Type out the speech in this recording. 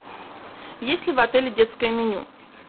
есть ли в отеле детское меню